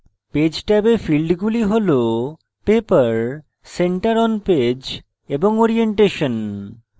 page ট্যাবে ফীল্ডগুলি হল paper center on page এবং orientation